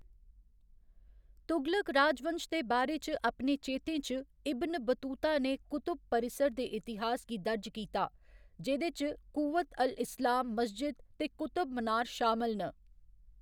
तुगलक राजवंश दे बारे च अपने चेतें च, इब्न बतूता ने कुतुब परिसर दे इतिहास गी दर्ज कीता, जेह्दे च कूव्वत अल इस्लाम मस्जिद ते कुतुब मनार शामल न।